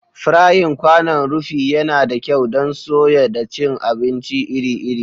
Frying kwanon rufi yana da kyau don soya da cin abinci iri-iri.